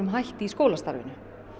hætti í skólastarfinu